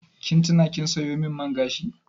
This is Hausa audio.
Kin tuna kin sayo min man gashi?